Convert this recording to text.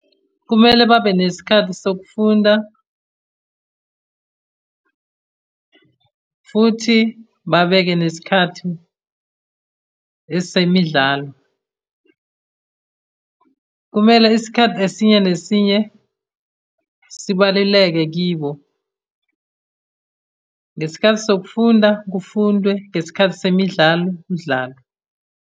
Kumele babe nesikhathi sokufunda, futhi babeke nesikhathi esemidlalo. Kumele isikhathi esinye nesinye sibaluleke kibo. Ngesikhathi sokufunda, kufundwe, ngesikhathi semidlalo, kudlalwe.